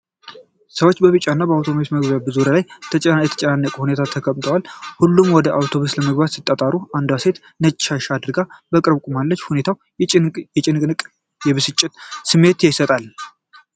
ሰዎች በቢጫና ቀይ አውቶቡስ መግቢያ በር ዙሪያ በተጨናነቀ ሁኔታ ተከምረዋል። ሁሉም ወደ አውቶቡሱ ለመግባት ሲጣጣሩ፣ አንዲት ሴት ነጭ ሻሽ አድርጋ በቅርብ ቆማለች። ሁኔታው የጭንቀትና የብስጭት ስሜት ይሰጣል።